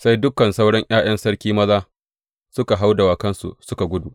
Sai dukan sauran ’ya’yan sarki maza suka hau dawakansu suka gudu.